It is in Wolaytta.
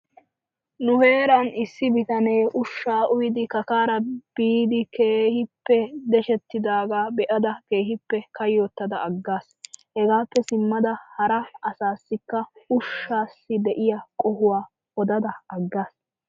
Nu heeran issi bitanee ushshaa uyidi kakaara biidi keehippe deshettidaagaa be'ada keehippe kayyottada aggaas. Hegaappe simmada hara asaassikka ushshaassi de'iya qohuwa odada aggaas.